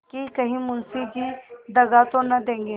कि कहीं मुंशी जी दगा तो न देंगे